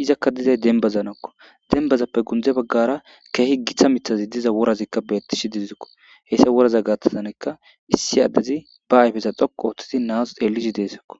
iza dizayka dembazanikko ,dembazappe gunde baggara keehi gita miththayka diza worazi beettishe deesiko hessa woraza gaathan naazi be ayfe dhoqqu oothi xeellisje deesiko.